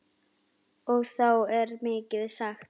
Og þá er mikið sagt.